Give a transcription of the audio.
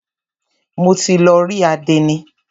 Mo ti lọ rí àdénì.